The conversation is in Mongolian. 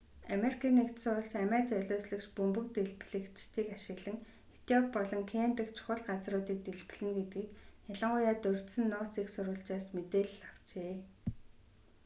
ану амиа золиослогч бөмбөг дэлбэлэгчдийг ашиглан этиоп болон кени дэх чухал газар”-уудыг дэлбэлнэ гэдгийг ялангуяа дурьдсан нууц эх сурвалжаас мэдээлэл авчээ